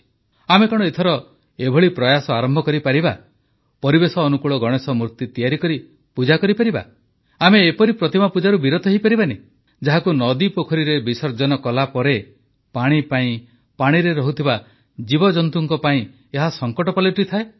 ଆମେ କଣ ଏଥର ଏଭଳି ପ୍ରୟାସ ଆରମ୍ଭ କରିପାରିବା ପରିବେଶଅନୁକୂଳ ଗଣେଶ ମୂର୍ତ୍ତି ତିଆରି କରି ପୂଜା କରିବା ଆମେ ଏପରି ପ୍ରତିମା ପୂଜାରୁ ବିରତ ହୋଇପାରିବାନି ଯାହାକୁ ନଦୀପୋଖରୀରେ ବିସର୍ଜନ କଲାପରେ ପାଣି ପାଇଁ ପାଣିରେ ରହୁଥିବା ଜୀବଜନ୍ତୁଙ୍କ ପାଇଁ ଏହା ସଙ୍କଟ ପାଲଟିଥାଏ